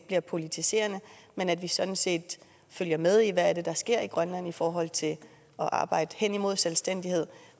bliver politiserende men at vi sådan set følger med i hvad det er der sker i grønland i forhold til at arbejde hen imod selvstændighed